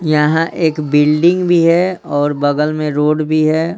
यहां एक बिल्डिंग भी है और बगल में रोड भी है।